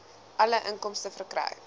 alle inkomste verkry